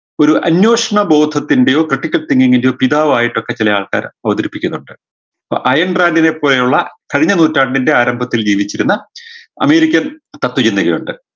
ഒരു അന്വേഷണ ബോധത്തിൻറെയോ ഒരു critical thinking ൻറെയോ പിതാവായിട്ടൊക്കെ ചെലയാൾക്കാര് അവതരിപ്പിക്കുന്നുണ്ട് പ്പോ അയേൺ ഡ്രാഗിനെപ്പോലെയുള്ള കഴിഞ്ഞ നൂറ്റാണ്ടിൻറെ ആരംഭത്തിൽ ജീവിച്ചിരുന്ന american തത്ത്വ ചിന്തകനുണ്ട്